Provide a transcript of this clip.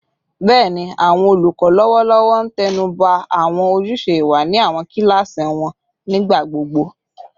Bẹẹni, awọn olukọ lọwọlọwọ n tẹnuba awọn ojuse iwa ni awọn kilasi wọn nigbagbogbo